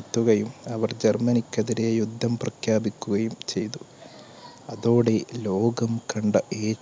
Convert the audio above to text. എത്തുകയും, അവർ ജർമ്മനിക്കെതിരെ യുദ്ധം പ്രഖ്യാപിക്കുകയും ചെയ്തു. അതോടെ ലോകം കണ്ട ഏ